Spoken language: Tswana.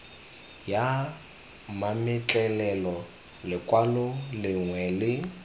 ya mametlelelo lekwalo lengwe le